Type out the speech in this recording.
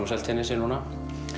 á Seltjarnarnesi núna